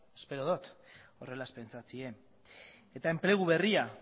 espero dot horrela ez pentsatzea eta enplegu berria